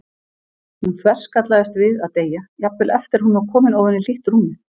Hún þverskallaðist við að deyja, jafnvel eftir að hún var komin ofan í hlýtt rúmið.